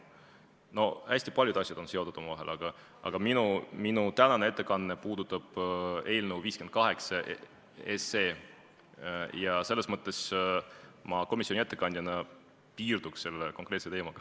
No hästi paljud asjad on seotud omavahel, aga minu tänane ettekanne puudutab eelnõu 58 ja ma komisjoni ettekandjana piirduks selle konkreetse teemaga.